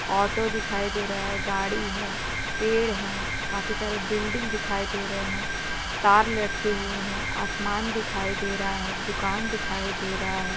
Auto दिखाई दे रहा है गाड़ी है पेड़ है कफी सारे बिल्डिंग दिखाई दे रहे है तार लटके हुवे है आसमान दिखाई दे रहा है दुकान दिखाई दे रहा है।